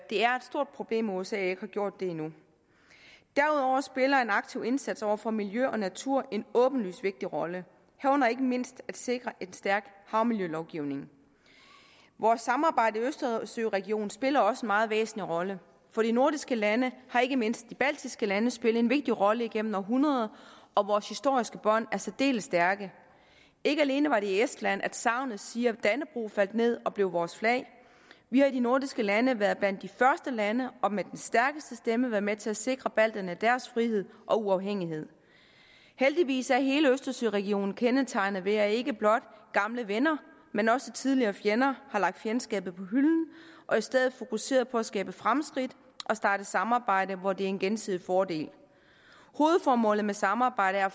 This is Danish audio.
stort problem at usa ikke har gjort det endnu derudover spiller en aktiv indsats over for miljø og natur en åbenlyst vigtig rolle herunder ikke mindst at sikre en stærk havmiljølovgivning vores samarbejde i østersøregionen spiller også en meget væsentlig rolle for de nordiske lande har ikke mindst de baltiske lande spillet en vigtig rolle igennem århundreder og vores historiske bånd er særdeles stærke ikke alene var det i estland sagnet siger at dannebrog faldt ned og blev vores flag vi har i de nordiske lande været blandt de første lande og med den stærkeste stemme været med til at sikre balterne deres frihed og uafhængighed heldigvis er hele østersøregionen kendetegnet ved at ikke blot gamle venner men også tidligere fjender har lagt fjendskabet på hylden og i stedet fokuserer på at skabe fremskridt og starte samarbejde hvor det er en gensidig fordel hovedformålet med samarbejdet er